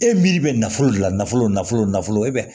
E miiri bɛ nafolo de la nafolo nafolo nafolo e bɛ